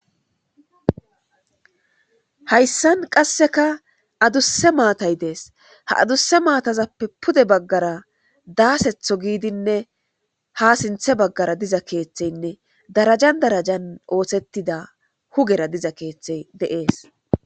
Hayssan qassika adusa maththay dees.ha adusa mathazape pudeta baggara daseto giddine ha sintha baggara diza keeththine darajani darajan osetida pulara diza keeththay dees.